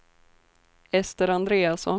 Ester Andreasson